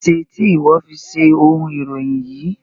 Ẹ ṣè tì iwọ fi ṣẹ ọ̀un iròyìn yí?